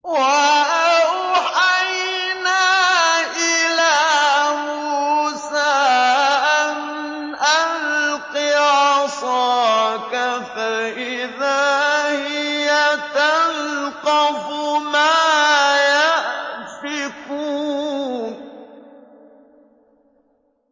۞ وَأَوْحَيْنَا إِلَىٰ مُوسَىٰ أَنْ أَلْقِ عَصَاكَ ۖ فَإِذَا هِيَ تَلْقَفُ مَا يَأْفِكُونَ